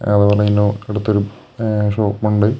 എടുത്തൊരു എ ഷോപ്പുണ്ട്